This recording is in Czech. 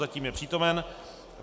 Zatím je přítomen.